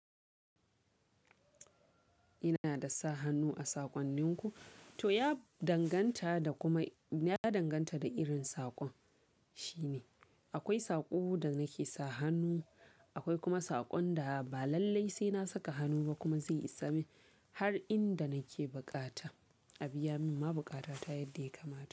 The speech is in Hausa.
Ina da sa hannu a saƙonninku, to ya danganta da kuma ya danganta da irin saƙon shine. Akwai saƙo da nake sa hannu, akwai kuma saƙon da ba lallai sai na saka hannu ba kuma zai isamin har inda nake bukata. Abiya min ma buƙata ta yadda ya kamata.